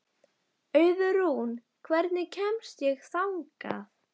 Auðrún, hvernig kemst ég þangað?